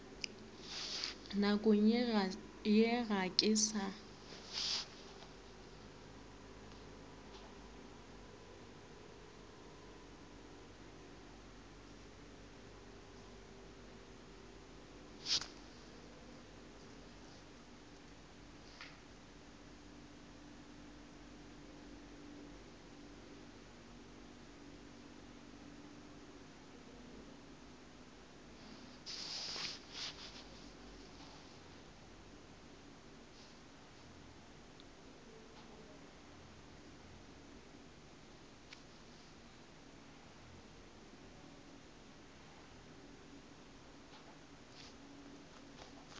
nakong ye ga ke sa